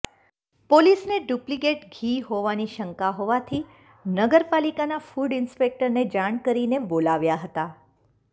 પોલીસને ડુપ્લીકેટ ઘી હોવાની શંકા હોવાથી નગરપાલીકાના ફુડ ઈન્સ્પેકટરને જાણ કરી ને બોલાવ્યા હતા